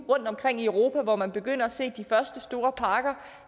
rundt omkring i europa hvor man begynder at se de første store parker